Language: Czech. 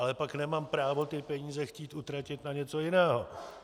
Ale pak nemám právo ty peníze chtít utratit na něco jiného.